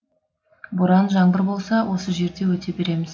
боран жаңбыр болса осы жерде өте береміз